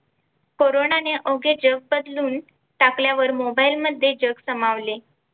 कोरोनाने अवघे जग बदलून टाकल्यावर Mobile मध्ये जग सामावले.